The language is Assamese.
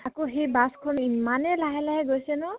আকৌ সেই bus খন ইমানে লাহে লাহে গৈছে ন?